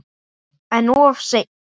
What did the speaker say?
En of seinn.